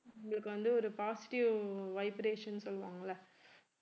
எங்களுக்கு வந்து ஒரு positive vibration சொல்லுவாங்கல்ல